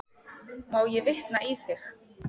Má ég vitna í þig?